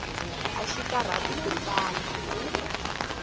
axi karhati ku tsala